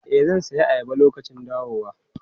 E, zan sayi ayaba lokacin dawowa.